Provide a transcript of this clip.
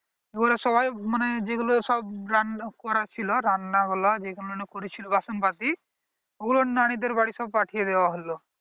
ওরা সবাই মানে যেগুলো সব রান্না করা ছিল রান্না রান্নায় যেগুলো করেছিল বাসনপত্র ওগুলো নানীদের বাড়ির সব পাঠিয়ে দেওয়া হল